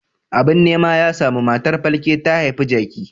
Abin nema ya samu matar falke ta haifi jaki.